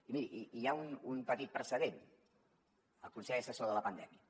i miri hi ha un petit precedent el consell assessor de la pandèmia